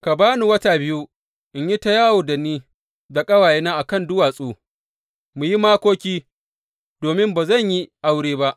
Ka ba ni wata biyu in yi ta yawo da ni da ƙawayena a kan duwatsu mu yi makoki, domin ba zan yi aure ba.